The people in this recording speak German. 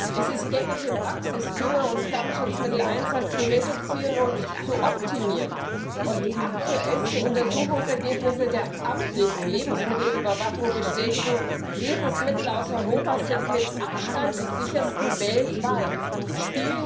Es ist gängige Praxis, Dünger und Pflanzenschutzmitteleinsatz zu reduzieren und zu optimieren. Aktuellste Untersuchungsergebnisse der amtlichen Lebensmittelüberwachung bestätigen, dass Lebensmittel aus Europa mit Abstand die sichersten weltweit sind.